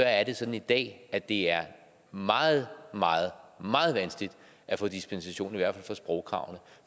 er det sådan i dag at det er meget meget meget vanskeligt at få dispensation i hvert fald fra sprogkravene